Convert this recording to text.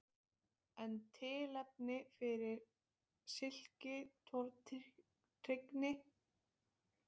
En er tilefni fyrir slíkri tortryggni?